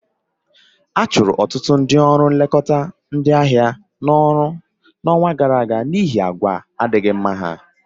A chụrụ ọtụtụ ndị ọrụ nlekọta ndị ahịa n'ọrụ n'ọnwa gara aga n'ihi àgwà adịghị mma ha